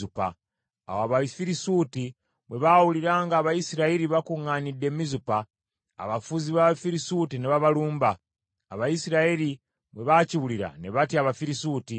Awo Abafirisuuti bwe baawulira nga Abayisirayiri bakuŋŋaanidde e Mizupa, abafuzi b’Abafirisuuti ne babalumba. Abayisirayiri bwe baakiwulira ne batya Abafirisuuti.